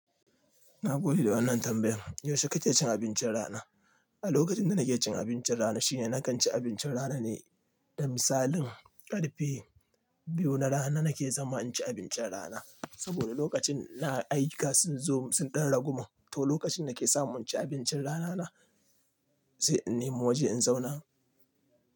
Na gode da wannan tambayan. Yaushe kake cin abincin rana? A lokacin da nake cin abincin rana shine nakan ci abincin rana ne, da misalin karfe biyu na rana nake zama in ci abincin rana. Saboda lokacin na ayyuka sun zo sun ɗan ragu mu, to lokacin na ke sa mun ci abincin rana na sai in nemo waje in zauna.